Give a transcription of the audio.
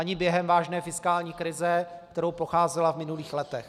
Ani během vážné fiskální krize, kterou procházela v minulých letech.